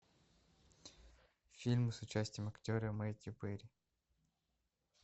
фильмы с участием актера мэтью перри